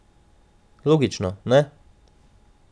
Logično, ne?